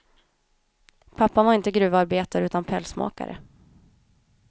Pappan var inte gruvarbetare utan pälsmakare.